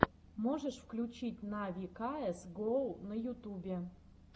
можешь включить нави каэс гоу на ютубе